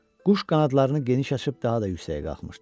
Quş qanadlarını geniş açıb daha da yüksəyə qalxmışdı.